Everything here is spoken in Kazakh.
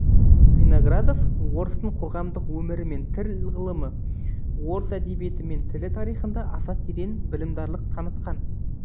виноградов орыстың қоғамдық өмірі мен тіл ғылымы орыс әдебиеті мен тілі тарихында аса терең білімдарлық танытқан